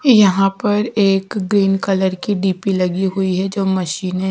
यहां पर एक ग्रीन कलर की डीपी लगी हुई है जो मशीन में--